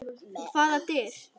Hvaða dyr?